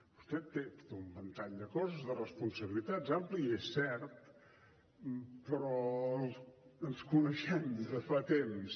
vostè té un ventall de coses de responsabilitats ampli és cert però ens coneixem de fa temps